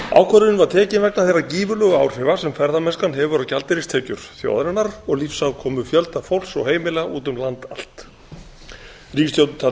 ákvörðunin var tekin vegna þeirra gífurlega áhrifa sem ferðamennskan hefur á gjaldeyristekjur þjóðarinnar og lífsafkomu fjölda fólks og heimila úti um land allt ríkisstjórnin taldi